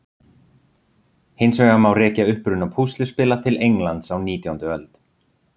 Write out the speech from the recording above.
Hins vegar má rekja uppruna púsluspila til Englands á nítjándu öld.